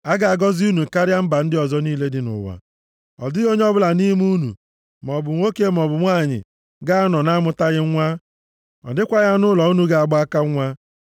A ga-agọzi unu karịa mba ndị ọzọ niile dị nʼụwa. Ọ dịghị onye ọbụla nʼime unu, maọbụ nwoke maọbụ nwanyị ga-anọ na-amụtaghị nwa, ọ dịkwaghị anụ ụlọ unu ga-agba aka nwa.